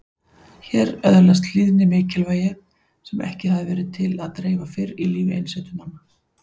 Hér öðlaðist hlýðni mikilvægi sem ekki hafði verið til að dreifa fyrr í lífi einsetumanna.